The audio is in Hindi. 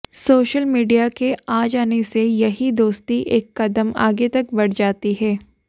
सोशल मीडिया के आ जाने से यही दोस्ती एक कदम आगे तक बढ़ जाती है